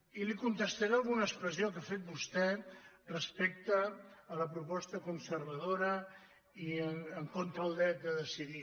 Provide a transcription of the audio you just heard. i li contestaré a alguna expressió que ha fet vostè respecte a la proposta conservadora i en contra del dret a decidir